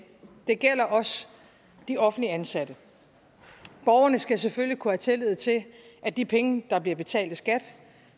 det gælder også de offentligt ansatte borgerne skal selvfølgelig kunne have tillid til at de penge der bliver betalt i skat